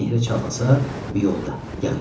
Kim nehrə çalxasa, miyolda, yağ istə.